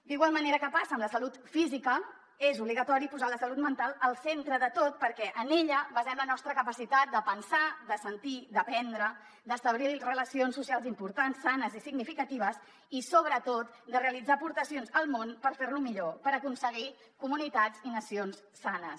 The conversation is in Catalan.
d’igual manera que passa amb la salut física és obligatori posar la salut mental al centre de tot perquè en ella basem la nostra capacitat de pensar de sentir d’aprendre d’establir relacions socials importants sanes i significatives i sobretot de realitzar aportacions al món per fer lo millor per aconseguir comunitats i nacions sanes